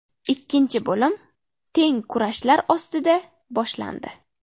Ikkinchi bo‘lim teng kurashlar ostida boshlandi.